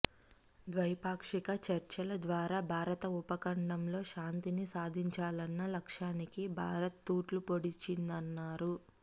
ద్వైపాక్షిక చర్చల ద్వారా భారత ఉపఖండంలో శాంతిని సాధించాలన్న లక్ష్యానికి భారత్ తూట్లు పొడిచిందన్నారు